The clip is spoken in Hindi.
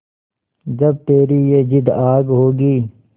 जब तेरी ये जिद्द आग होगी